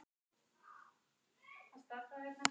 Elín, er bolti á fimmtudaginn?